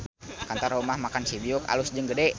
Kantor Rumah Makan Cibiuk alus jeung gede